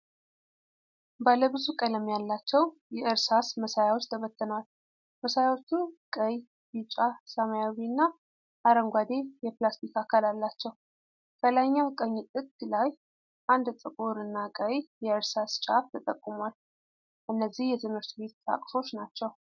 ባለ ብዙ ቀለም ያላቸው የእርሳስ መሳያዎች ተበትነዋል። መሳያዎቹ ቀይ፣ ቢጫ፣ ሰማያዊና አረንጓዴ የፕላስቲክ አካል አላቸው። ከላይኛው ቀኝ ጥግ ላይ አንድ ጥቁር እና ቀይ የእርሳስ ጫፍ ተጠቁሟል። እነዚህ የትምህርት ቤት ቁሳቁሶች ናቸው።